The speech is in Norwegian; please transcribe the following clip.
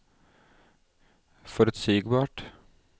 forutsigbart